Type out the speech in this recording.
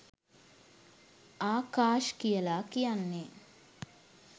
ආකාශ් කියලා කියන්නේ